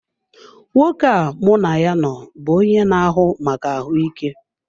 Nwoke a mụ na ya nọ bụ onye na-ahụ maka ahụike.